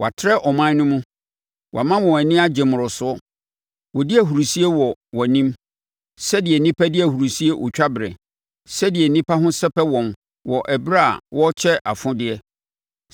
Woatrɛ ɔman no mu; woama wɔn ani agye mmoroso; wɔdi ahurisie wɔ wʼanim sɛdeɛ nnipa di ahurisie otwaberɛ, sɛdeɛ nnipa ho sɛpɛ wɔn wɔ ɛberɛ a wɔrekyɛ afodeɛ.